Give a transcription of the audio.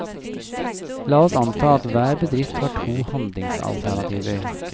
La oss anta at hver bedrift har to handlingsalternativer.